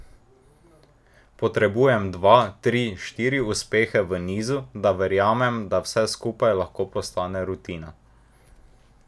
Potrebujem dva, tri, štiri uspehe v nizu, da verjamem, da vse skupaj lahko postane rutina.